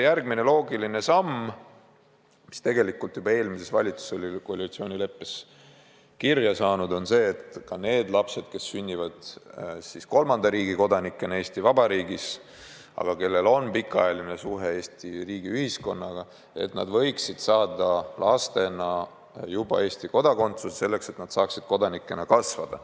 Järgmine loogiline samm, mis tegelikult oli juba eelmise valitsuse ajal koalitsioonileppesse kirja pandud, on see, et ka need lapsed, kes on sündinud kolmanda riigi kodanikena Eesti Vabariigis ja kellel on pikaajaline suhe Eesti riigi ja ühiskonnaga, võiksid saada juba lastena Eesti kodakondsuse, et nad saaksid siin kodanikena kasvada.